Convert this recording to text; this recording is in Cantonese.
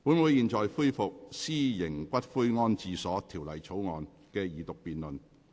本會現在恢復《私營骨灰安置所條例草案》的二讀辯論。